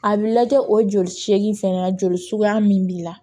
A bɛ lajɛ o joli seegin fɛnɛ joli suguya min b'i la